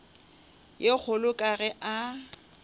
ye kgolo ka ge a